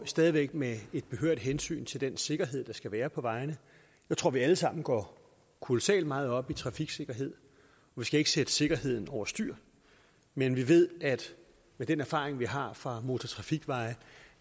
stadig væk med et behørigt hensyn til den sikkerhed der skal være på vejene jeg tror vi alle sammen går kolossalt meget op i trafiksikkerhed vi skal ikke sætte sikkerheden over styr men vi ved med den erfaring vi har fra motortrafikveje at